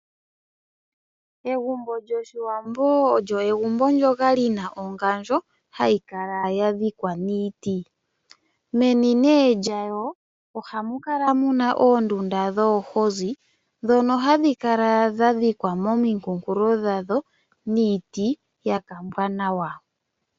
Egumbo lyoshiwambo olyo egumbo ndyoka lina ongandjo hayi kala ya dhikwa niiti. Meni nee lyayo ohamu kala muna oondunda dhoohozi ndhono hadhi kala dha dhikwa momikunkulo lyalyo niiti hayi kala ya kambwa nawa.